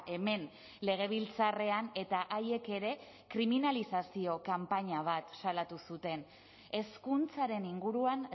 hemen legebiltzarrean eta haiek ere kriminalizazio kanpaina bat salatu zuten hezkuntzaren inguruan